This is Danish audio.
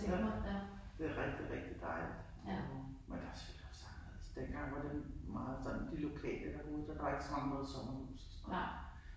Ja. Det rigtig rigtig dejligt derovre. Men det selvfølgelig også anderledes. Dengang var det meget sådan de lokale der boede der. Der var ikke så mange der havde sommerhus og sådan noget